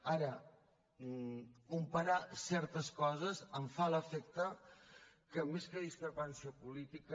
ara comparar certes coses em fa l’efecte que més que discrepància política